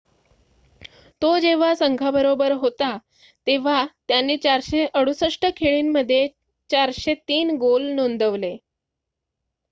तो जेव्हा संघाबरोबर होता तेव्हा त्याने 468 खेळी मध्ये 403 गोल नोंदवले